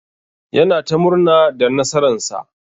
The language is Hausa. Yana ta murna da nasara'n sa.